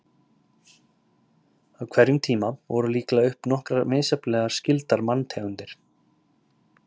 Á hverjum tíma voru líklega uppi nokkrar misjafnlega skyldar manntegundir.